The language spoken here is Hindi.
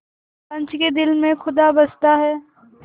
पंच के दिल में खुदा बसता है